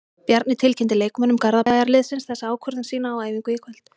Bjarni tilkynnti leikmönnum Garðabæjarliðsins þessa ákvörðun sína á æfingu í kvöld.